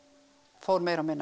fór meira og minna